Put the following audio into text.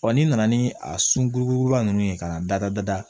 ni nana ni a sunkuruba ninnu ye ka na dada